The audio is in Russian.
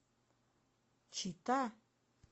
чита